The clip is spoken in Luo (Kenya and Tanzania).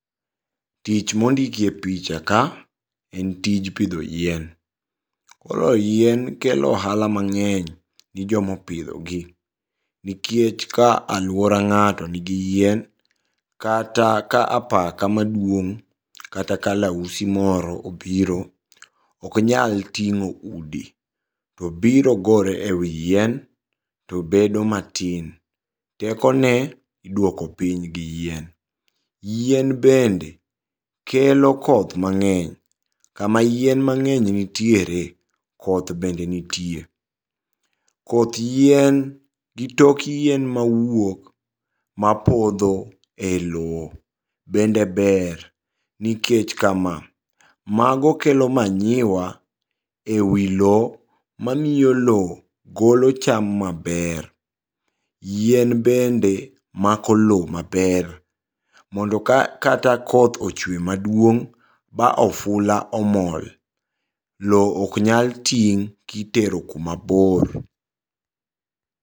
Tich mondikie pichaka en tij pidho yien, koro yien kelo ohala mang'eny ni jomo opidhogi nikech ka aluora ng'ato nigi yien kata ka apaka maduong' kata kalausi moro obiro oknyal ting'o udi, tobiro gore e wi yien tobedo matin. Tekone iduoko piny gi yien. Yien bende kelo koth mang'eny, kama yien mang'eny ntiere koth bende nitie. Koth yien gi tok yien mawuok mapodho e loo bende ber nikech kama, mago kelo manure e wi loo mamiyo loo golo cham maber. Yien bende mako loo maber mondo ka kata koth ochwe maduong' ba ofula omol, loo oknyal ting' kitero kumabor.